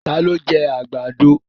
Ta ló jẹ́ àgbàdo?